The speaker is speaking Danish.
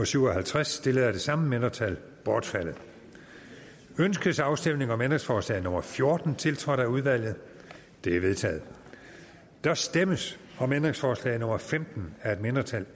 syv og halvtreds stillet af det samme mindretal bortfaldet ønskes afstemning om ændringsforslag nummer fjorten tiltrådt af udvalget det er vedtaget der stemmes om ændringsforslag nummer femten af et mindretal